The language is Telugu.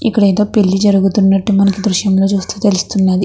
ఇక్కడ ఏదో పెళ్లి జరుగుతున్నట్టు మనకి దృశ్యం లో చూస్తుంటే మనకి తెలుస్తుంది.